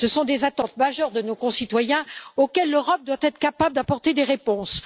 Ce sont des attentes majeures de nos concitoyens auxquelles l'Europe doit être capable d'apporter des réponses.